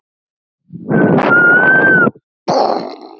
Og stundum var háskinn nærri.